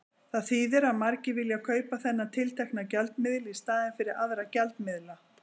Það þýðir að margir vilja kaupa þennan tiltekna gjaldmiðil í staðinn fyrir aðra gjaldmiðla.